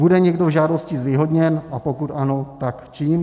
Bude někdo v žádosti zvýhodněn, a pokud ano, tak čím?